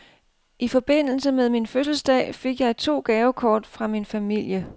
I forbindelse med min fødselsdag fik jeg to gavekort fra min familie.